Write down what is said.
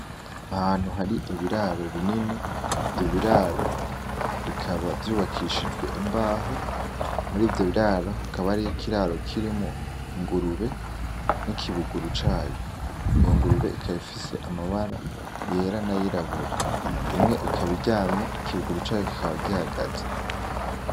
Ahantu hari ibiraro binini, ivyo biraro bikaba vyubakishijwe imbaho murivyo biraro hakaba hari ikiraro kirimwo ingurube n'ikibuguru cayo, iyo ngurube ikaba ifise amabara yera n’ayirabura imwe ikaba iryamye ikibuguru cayo kikaba gihagaze.